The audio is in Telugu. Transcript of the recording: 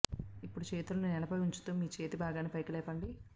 ఇప్పుడు చేతుల్ని నేలపై ఉంచుతూ మీ చేతి భాగాన్ని పైకి లేపండి